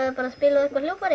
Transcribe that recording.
að spila á eitthvert hljóðfæri